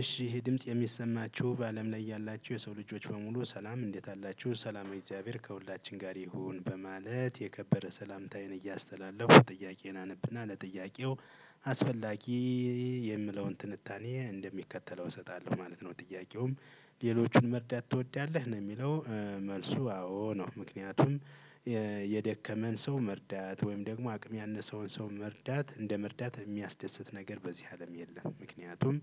እሺ ይሄ ድምጽ የሚሰማቹ በአለም ላይ ያላችሁ የሰው ልጆች በሙሉ ሰላም እንዴት አላችሁ ሰላመ እግዚአብሔር ከሁላችን ጋር ይሁን በማለት የከበረ ሰላምታዬን እያስተላለፍኩ ጥያቄውን አነብና ለጥያቄው አስፈላጊ የምለውን ትንታኔ እንደሚከተለው እሰጣለሁ ማለት ነው። ጥያቄውም ሌሎቹን መርዳት ትወዳለህ ነው የሚለው? መልሱ አዎ ነው። ምክንያቱም የደከመን ሰው መርዳት ወይም ደግሞ አቅም ያነሰውን ሰው መርዳት እንደ መርዳት የሚያስደስት ነገር በዚህ አለም የለም። ምክንያቱም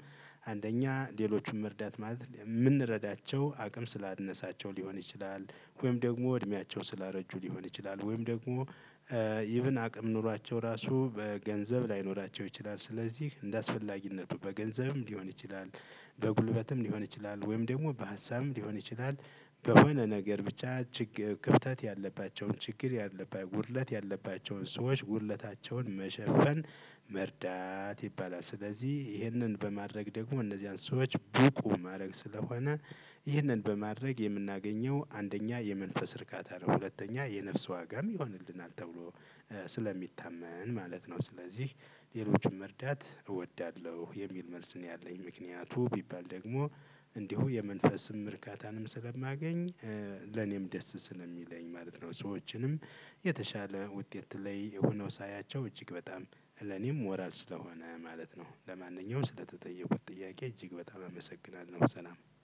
አንደኛ ሌሎቹም መርዳት ማለት የምንረዳቸው አቅም ስላነሳቸው ሊሆን ይችላል። ወይም ደግሞ እድሜያቸው ስላረጁ ሊሆን ይችላል ወይም ደግሞ ኢቭን አቅም ኖሯቸው ራሱ በገንዘብ ላይኖራቸው ይችላል ስለዚህ እንደአስፈላጊነቱ በገንዘብም ሊሆን ይችላል። በጉልበትም ሊሆን ይችላል ወይም ደግሞ በሀሳብም ሊሆን ይችላል። በሆነ ነገር ብቻ ችግር ክፍተት ያለባቸውን ችግር ያለባቸውን ጉድለት ያለባቸውን ሰዎች ጉድለታቸውን መሸፈን መርዳት ይባላል። ስለዚህ ይህንን በማድረግ ደግሞ እነዚህን ሰዎች ብቁ ማድረግ ስለሆነ። ይህንን በማድረግ የምናገኘው አንደኛ የመንፈስ እርካታ ነው። ሁለተኛ የነፍስ ዋጋም ይሆንልናል ተብሎ ስለሚታመን ማለት ነው። ስለዚህ ሌሎችን መርዳት እወዳለሁ የሚል መልስ ነው። ያለኝ ምክንያቱ ቢባል ደግሞ እንዲሁ የመንፈስም እርካታንም ስለማገኝ። ለኔም ደስ ስለሚለኝ ማለት ነው። ሰዎችንም የተሻለ ውጤት ላይ ሆኖ ሳያቸው እጅግ በጣም ለኔም ሞራል ስለሆነ ማለት ነው። ለማንኛውም ስለተጠየቁት ጥያቄ እጅግ በጣም አመሰግናለሁ ሰላም